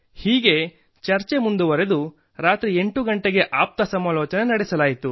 ಹೀಗೆ ಚರ್ಚೆ ಮುಂದುವರಿದು ರಾತ್ರಿ 8 ಗಂಟೆಗೆ ಆಪ್ತಸಮಾಲೋಚನೆ ನಡೆಸಲಾಯಿತು